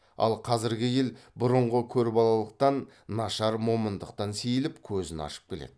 ал қазіргі ел бұрынғы көрбалалықтан нашар момындықтан сейіліп көзін ашып келеді